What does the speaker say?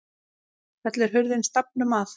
Fellur hurðin stafnum að.